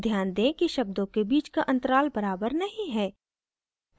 ध्यान दें कि शब्दों के बीच का अंतराल बराबर नहीं है